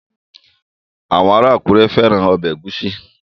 Àwọn ará Àkúrẹ́ fẹ́ran ọbẹ̀ ẹ̀gúsí